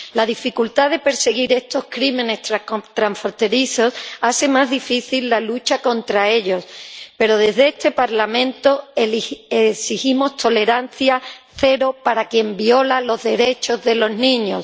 La dificultad de perseguir estos crímenes transfronterizos hace más difícil la lucha contra ellos, pero desde este Parlamento exigimos tolerancia cero para quien viola los derechos de los niños.